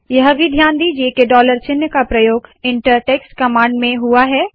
यह भी ध्यान दीजिए के डॉलर चिन्ह का प्रयोग इंटर टेक्स्ट कमांड में हुआ है